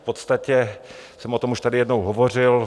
V podstatě jsem o tom už tady jednou hovořil.